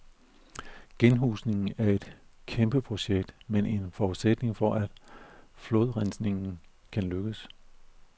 Genhusningen er et kæmpeprojekt, men en forudsætning for, at flodrensninger kan lykkes.